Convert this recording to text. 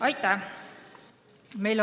Aitäh!